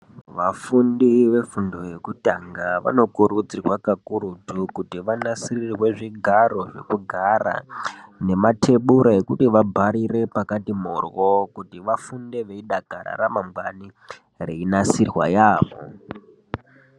Vafundi ve fundo yekutanga vano kurudzirwa kakurutu kuti vanasirirwe zvigaro zveku gara ne matebura ekuti vabharire pakati morwo kuti vafunde veyi dakara ra ramangwani rei nasirwa yamho.